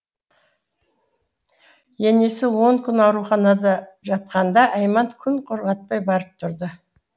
енесі он күн ауруханада жатқанда айман күн құрғатпай барып тұрды